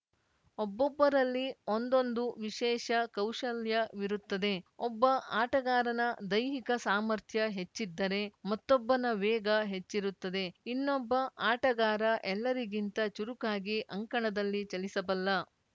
ಒಬ್ಬೊಬ್ಬರಲ್ಲಿ ಒಂದೊಂದು ವಿಶೇಷ ಕೌಶಲ್ಯವಿರುತ್ತದೆ ಒಬ್ಬ ಆಟಗಾರನ ದೈಹಿಕ ಸಾಮರ್ಥ್ಯ ಹೆಚ್ಚಿದ್ದರೆ ಮತ್ತೊಬ್ಬನ ವೇಗ ಹೆಚ್ಚಿರುತ್ತದೆ ಇನ್ನೊಬ್ಬ ಆಟಗಾರ ಎಲ್ಲರಿಗಿಂತ ಚುರುಕಾಗಿ ಅಂಕಣದಲ್ಲಿ ಚಲಿಸಬಲ್ಲ